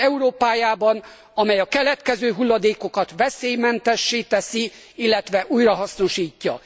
század Európájában, amely a keletkező hulladékokat veszélymentessé teszi, illetve újrahasznosítja.